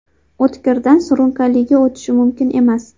O‘tkirdan surunkaliga o‘tishi mumkin emas.